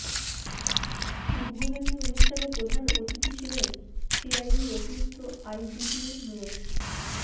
উদ্বোধনী অনুষ্ঠানে প্রধান অতিথি ছিলেন সিআইডির অতিরিক্ত আইজিপি মো